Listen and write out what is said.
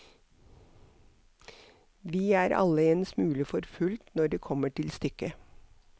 Vi er alle en smule forfulgt når det kommer til stykket.